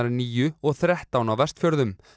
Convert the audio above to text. níu og þrettán á Vestfjörðum